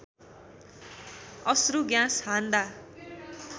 अश्रु ग्यास हान्दा